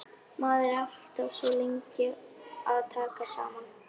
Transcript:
Maður er alltaf svo lengi að taka saman.